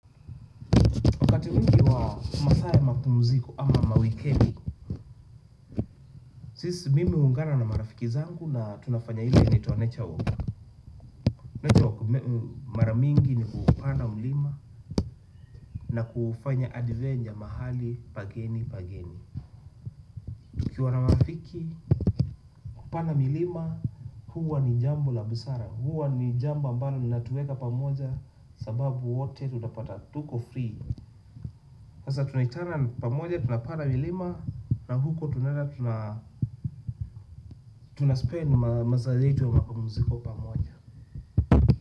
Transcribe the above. Masaa ya mapumziko ama mawikendi sisi mimi huungana na marafiki zangu na tunafanya ile inaitwa nature walk. Nature walk mara mingi ni kupanda mlima na kufanya adventure mahali pageni pageni uKiwa na marafiki kupanda milima huwa ni jambo la busara. Huwa ni jambo ambalo linatueka pamoja sababu wote tutapata tuko free hasa tunaitana pamoja tunapanda milima na huko tunaenda tunaspend masaa zetu wa mapumziko pamoja.